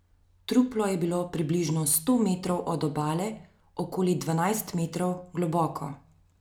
Truplo je bilo približno sto metrov od obale okoli dvanajst metrov globoko.